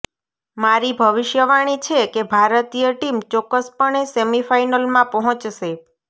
મારી ભવિષ્યવાણી છે કે ભારતીય ટીમ ચોક્કસપણે સેમીફાઇનલમાં પહોંચશે